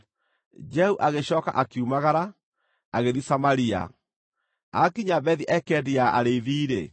Jehu agĩcooka akiumagara, agĩthiĩ Samaria. Aakinya Bethi-Ekedi ya Arĩithi-rĩ,